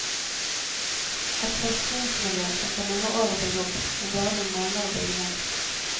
Et forskningsmiljø kan ta mange år å bygge opp, men bare noen måneder å bygge ned.